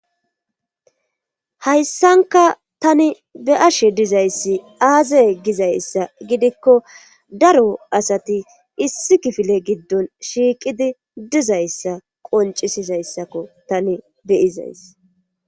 Hayssanka tani be'ashe dizayssi aazey gizayssa gidikko daro asati issi kifile giddon shiiqidi dizayssa qonccissizayssakko tani be'izaysi.